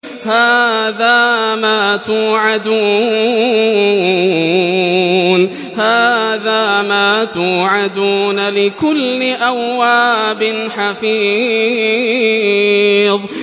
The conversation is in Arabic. هَٰذَا مَا تُوعَدُونَ لِكُلِّ أَوَّابٍ حَفِيظٍ